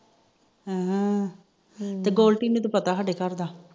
ਹਮ ਫਿਰ ਗੋਲਟੀ ਨੂੰ ਤਾ ਪਤਾ ਸਾਡੇ ਘਰ ਦਾ